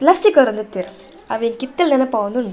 ಲಸ್ಸಿ ಕೊರೊಂದಿತ್ತೆರ್ ಅವು ಎಂಕ್ ಇತ್ತೆಲ ನೆನಪಾವೊಂದುಂಡು.